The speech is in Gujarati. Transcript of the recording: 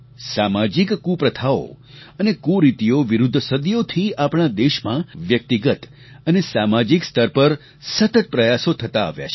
સામાજિક કુપ્રથાઓ અને કુરીતિઓ વિરુદ્ધ સદીઓથી આપણા દેશમાં વ્યક્તિગત અને સામાજિક સ્તર પર સતત પ્રયાસો થતા આવ્યા છે